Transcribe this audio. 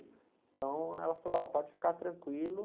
Então, ela falou, ó, pode ficar tranquilo.